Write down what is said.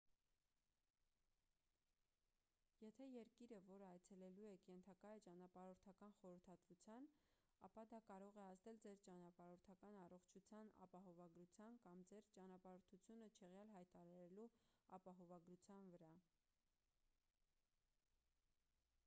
եթե երկիրը որը այցելելու եք ենթակա է ճանապարհորդական խորհրդատվության ապա դա կարող է ազդել ձեր ճանապարհորդական առողջության ապահովագրության կամ ձեր ճանապարհորդությունը չեղյալ հայտարարելու ապահովագրության վրա